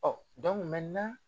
Ɔ